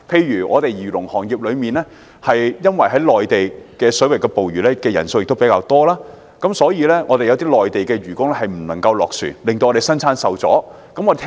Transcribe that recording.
以漁農業為例，由於在內地水域捕魚的人數較多，所以有些內地漁工不能落船，以致生產受影響。